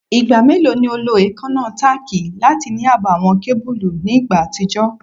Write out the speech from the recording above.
Igba melo ni o lo eekanna tack lati ni aabo awọn kebulu ni igba atijọ?